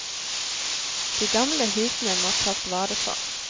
De gamle husene må tas vare på.